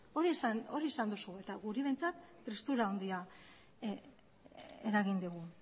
eta guri behintzat tristura handia eragin digu